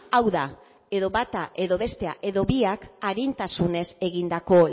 hau da edo bata edo bestea edo biak arintasunez egindako